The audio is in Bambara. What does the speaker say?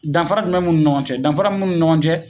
Danfara jumɛn b'u ni ɲɔgɔn cɛ danfara min b'u ni ɲɔgɔn cɛ